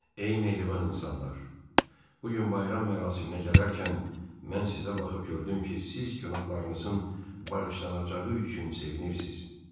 Ey mehriban insanlar, bu gün bayram mərasiminə gələrkən mən sizə baxıb gördüm ki, siz günahlarınızın bağışlanacağı üçün sevinirsiz.